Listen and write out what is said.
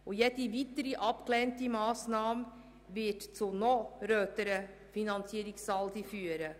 Jede weitere abgelehnte Massnahme wird zu noch röteren Finanzierungssaldi führen.